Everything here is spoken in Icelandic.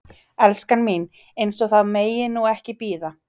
Elskan mín. eins og það megi nú ekki bíða!